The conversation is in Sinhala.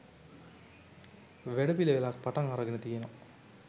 වැඩපිළිවෙලක් පටන් අරගෙන තියෙනවා